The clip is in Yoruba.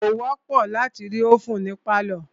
Kò wọ́pọ̀ láti rí ovèn ní pálọ̀.